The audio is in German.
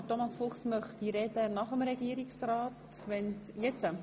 Ich nehme an, Thomas Fuchs wünscht als Antragsteller nach dem Regierungsrat das Wort.